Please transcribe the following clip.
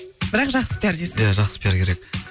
бірақ жақсы пиар дейсіз иә жақсы пиар керек